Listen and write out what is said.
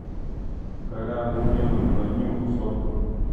колян любимый на днюху сотку